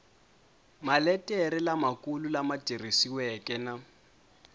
maletere lamakulu lama tikisiweke na